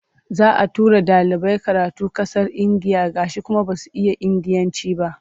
Za a tura ɗalibai karatu ƙasar Indiya gashi kuma ba su iya Indiyanci ba.